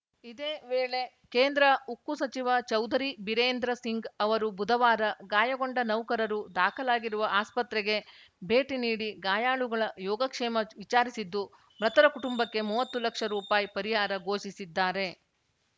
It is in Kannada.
ಇದೇ ವೇಳೆ ಕೇಂದ್ರ ಉಕ್ಕು ಸಚಿವ ಚೌಧರಿ ಬಿರೇಂದ್ರ ಸಿಂಗ್‌ ಅವರು ಬುಧವಾರ ಗಾಯಗೊಂಡ ನೌಕರರು ದಾಖಲಾಗಿರುವ ಆಸ್ಪತ್ರೆಗೆ ಭೇಟಿ ನೀಡಿ ಗಾಯಾಳುಗಳ ಯೋಗಕ್ಷೇಮ ವಿಚಾರಿಸಿದ್ದು ಮೃತರ ಕುಟುಂಬಕ್ಕೆ ಮೂವತ್ತು ಲಕ್ಷ ರುಪಾಯಿ ಪರಿಹಾರ ಘೋಷಿಸಿದ್ದಾರೆ